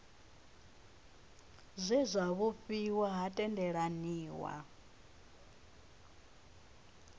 zwe zwa vhofhiwa ha tendelaniwa